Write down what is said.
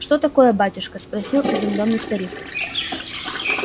что такое батюшка спросил изумлённый старик